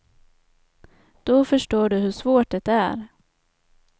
Då förstår du hur svårt det är.